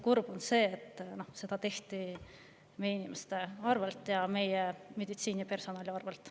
Kurb on see, et seda tehti meie inimeste ja meditsiinipersonali arvel.